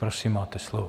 Prosím, máte slovo.